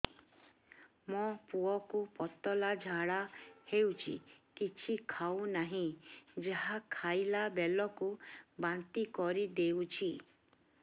ମୋ ପୁଅ କୁ ପତଳା ଝାଡ଼ା ହେଉଛି କିଛି ଖାଉ ନାହିଁ ଯାହା ଖାଇଲାବେଳକୁ ବାନ୍ତି କରି ଦେଉଛି